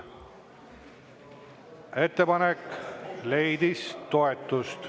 Ettepanek leidis toetust.